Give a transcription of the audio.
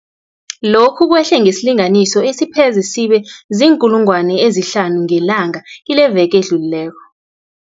Lokhu kwehle ngesilinganiso esipheze sibe ziinkulungwana ezihlanu ngelanga kileveke edlulileko.